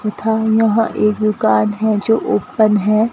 तथा यहां एक दुकान है जो ओपन है।